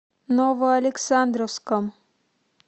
новоалександровском